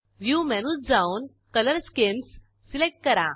view मेनूत जाऊन colour schemes select करा